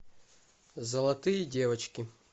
золотые девочки